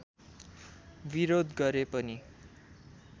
विरोध गरे पनि